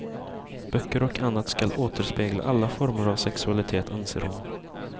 Böcker och annat ska återspegla alla former av sexualitet, anser hon.